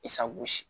Isa gosi